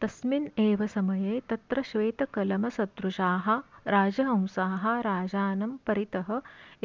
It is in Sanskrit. तस्मिन् एव समये तत्र श्वेतकलमसदृशाः राजहंसाः राजानं परितः